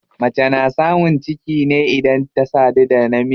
Mace na samun ciki ne idan ta sadu da namiji.